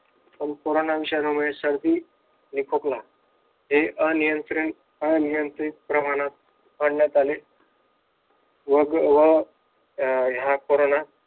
पण कोरोनाविषाणू मुळे एक सर्दी एक खोकला हे नियंत्रित अनियंत्रित प्रमाणात आणण्यात आले. व मग व कोरोना